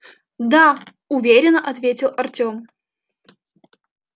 да уверенно ответил артем